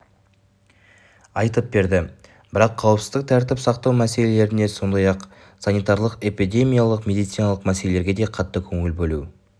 айтып берді бірақ қауіпсіздік тәртіп сақтау мәселелеріне сондай-ақ санитарлық-эпидемиологиялық медициналық мәселелерге де қатты көңіл бөлу